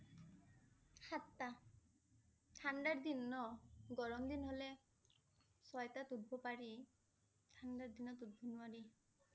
সাতটা। ঠাণ্ডাৰ দিন ন। গৰম দিন হলে, চয়তাত উঠিব পাৰি, ঠাণ্ডাৰ দিনত উঠিব নোৱাৰি